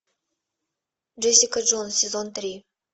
джессика джонс сезон три